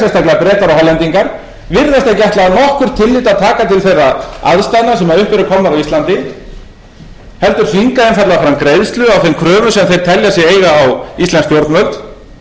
nokkurt tillit að taka til þeirra aðstæðna sem upp eru komnar á íslandi heldur þvinga einfaldlega fram greiðslu á þeim kröfum sem þeir telja sig eiga á íslensk stjórnvöld